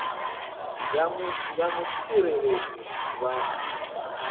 ya mutsireledzi wa nnyi na